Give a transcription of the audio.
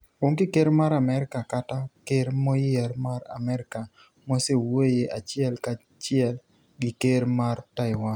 Onge ker mar Amerka kata ker moyier mar Amerka mosewuoye achiel ka chiel gi ker mar Taiwan.